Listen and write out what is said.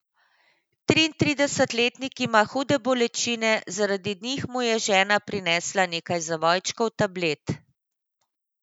Triintridesetletnik ima hude bolečine, zaradi njih mu je žena prinesla nekaj zavojčkov tablet.